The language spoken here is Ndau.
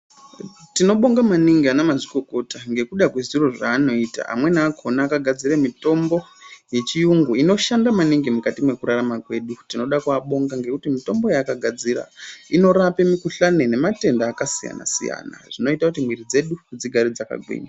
Tinobonga maningi anamazvikokota ngekuda kwezviro zvaanoita, amweni akhona akagadzire mitombo yechiyungu inoshanda maningi mukati nekurarama kwedu. Tinoda kuabonga ngekuti mitombo yaakagadzira inorape mikhuhlani nematenda akasiyana-siyana zvinoita kuti mwiri dzedu dzigare dzakagwinya.